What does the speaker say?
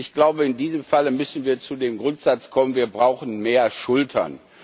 Ich glaube, in diesem Falle müssen wir zu dem Grundsatz kommen wir brauchen mehr Schultern.